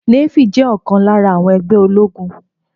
Nééfì jẹ́ ọ̀kan lára àwọn ẹgbẹ́ ológun